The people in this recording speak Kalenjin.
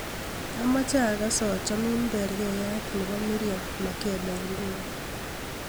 amoje agas achomin bergeiyat nwbo mirriam makeba inguni